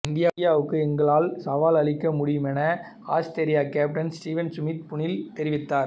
இந்தியாவுக்கு எங்களால் சவால் அளிக்க முடியும் என ஆஸ்திரேலிய கேப்டன் ஸ்டீவன் சுமித் புனேயில் தெரிவித்தார்